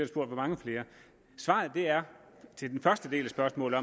spurgt hvor mange flere svaret til den første del af spørgsmålet